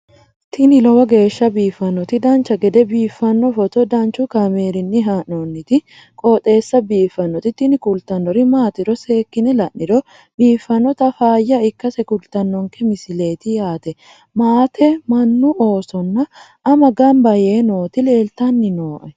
tini lowo geeshsha biiffannoti dancha gede biiffanno footo danchu kaameerinni haa'noonniti qooxeessa biiffannoti tini kultannori maatiro seekkine la'niro biiffannota faayya ikkase kultannoke misileeti yaate maate mannu oosonna ama gamba yee nooti leeltanni nooe